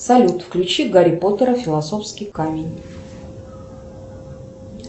салют включи гарри поттера философский камень